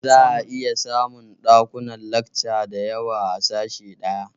Za a iya samun ɗakunan lakca da yawa a sashe ɗaya